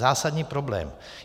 Zásadní problém.